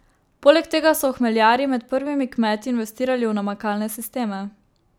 Poleg tega so hmeljarji med prvimi kmeti investirali v namakalne sisteme.